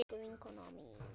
Elsku vinkona mín.